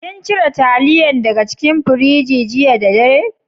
Kin cire talliyan daga cikin firiji jiya da dare?